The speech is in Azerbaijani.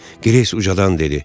Greys ucadan dedi